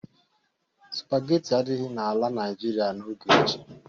Sụpageti adịghị n'ala Naịjirịa n'oge ochie.